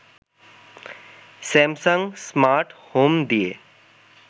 Samsung smart home দিয়ে